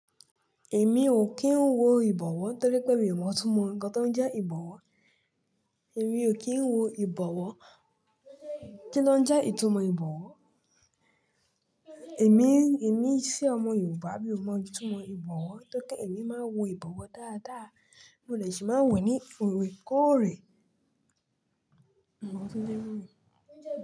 Èmi ò kí ń wo ìbọ̀wọ́ torí pé mi ò mọ̀ túmọ̀ nǹkan tó ń jẹ́ ìbọ̀wọ́. Èmi ò kí ń wo ìbọ̀wọ́ kí ló ń jẹ́ ìtumọ̀ ìbọ̀wọ́. Èmi, èmi sí ọmọ Yorùbá mi ò mọ̀ túmọ̀ ìbọ̀wọ́. Tó pé èmi máa wo ìbọ̀wọ́ dáadáa, mo lè ṣì máa wẹ̀ ní òrèkóòrè. Mimo oun ton jẹ́ ìbowo.